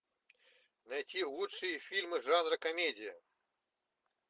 найти лучшие фильмы жанра комедия